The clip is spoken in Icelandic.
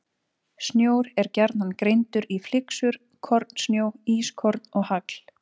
Snjór er gjarnan greindur í flyksur, kornsnjó, ískorn og hagl.